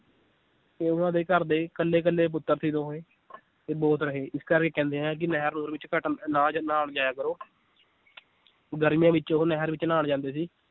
ਤੇ ਉਹਨਾਂ ਦੇ ਘਰਦੇ ਕੱਲੇ ਕੱਲੇ ਪੁੱਤਰ ਸੀ ਦੋਵੇਂ ਇਹ ਬੋਤ ਰਹੇ ਇਸ ਕਰਕੇ ਕਹਿੰਦੇ ਹੈ ਕਿ ਨਹਿਰ ਨੁਹਰ ਵਿਚ ਘੱਟ ਨਾ ਨਾ ਵੀ ਜਾਇਆ ਕਰੋ ਗਰਮੀਆਂ ਵਿਚ ਉਹ ਨਹਿਰ ਵਿਚ ਨਹਾਣ ਜਾਂਦੇ ਸੀ l